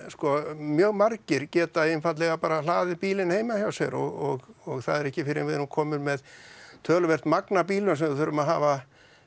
sko mjög margir geta einfaldlega bara hlaðið bílinn heima hjá sér og það er ekki fyrir en við erum komin með töluvert magn af bílum sem við þurfum að hafa